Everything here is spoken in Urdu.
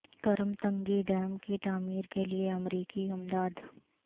کرم تنگی ڈیم کی تعمیر کے لیے امریکی امداد